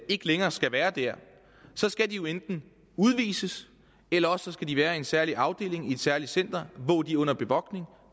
ikke længere skal være der så skal de jo enten udvises eller også skal de være i en særlig afdeling i et særligt center hvor de er under bevogtning